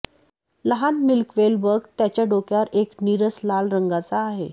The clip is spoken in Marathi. लहान मिल्कवेल बग त्याच्या डोक्यावर एक नीरस लाल रंगाचा आहे